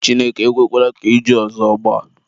Chineke ekwekwana ka iju ọzọ gbaa.